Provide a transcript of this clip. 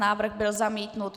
Návrh byl zamítnut.